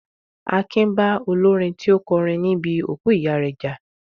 Akin bá olórin tí ó kọrin ní bi òkú ìyá rẹ jà